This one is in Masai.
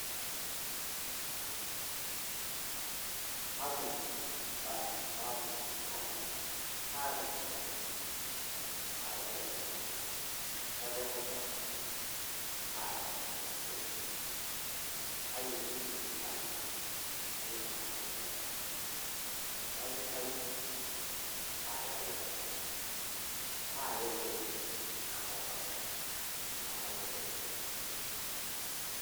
kamuoi ewaki sipitali, kaata orkirobi, kaaya elukunya, kairokita ,kaaya orgoo. kaji etii sipitali. kayieu nayae sipitali, oldakitari kaaya elukunya, kaya orgo, kairokita nemanya edaa esidai.